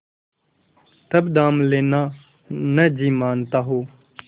तब दाम लेना न जी मानता हो